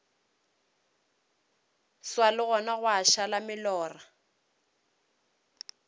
swa legong gwa šala molora